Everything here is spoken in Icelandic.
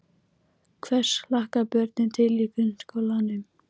Hvers hlakka börnin til í grunnskólanum?